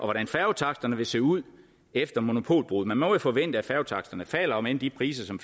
hvordan færgetaksterne vil se ud efter monopolbruddet man må jo forvente at færgetaksterne falder om end de priser som